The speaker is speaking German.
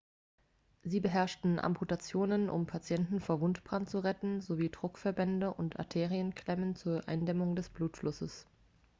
sie beherrschten amputationen um patienten vor wundbrand zu retten sowie druckverbände und arterienklemmen zur eindämmung des blutflusses